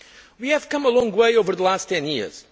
retire. We have come a long way over the last 10